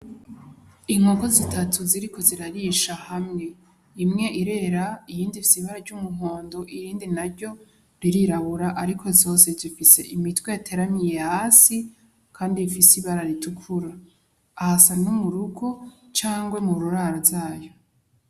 Inkoko zitatu ziriko zirarisha hamwe imwe irera iyindifise ibara ry'umuhondo irindi na ryo ririrabura, ariko zose jivise imitwe ateramiye hasi, kandi bifise ibara ritukura ahasa n'umurugo cangwe mu rurara zayo.